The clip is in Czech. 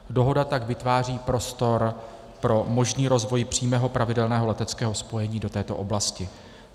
Dohoda tak vytváří prostor pro možný rozvoj přímého pravidelného leteckého spojení do této oblasti.